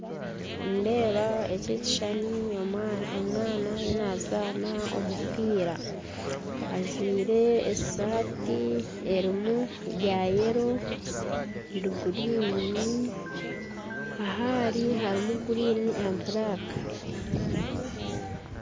Nindeeba eki ekishushani omwana ariyo nazaana omupiira ajwaire esaati erimu ya yero ruguriini aha ari harumu guriini na buraaka